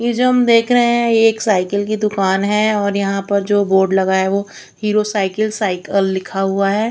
ये जो हम देख रहे हैं ये एक साइकिल की दुकान है और यहां पर जो बोर्ड लगा है वो हीरो साइकिल साइकिल लिखा हुआ है।